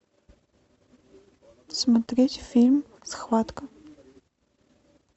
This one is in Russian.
смотреть фильм схватка